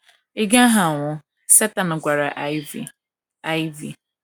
Ị gaghị anwụ, Satan gwara anyi v,, anyi v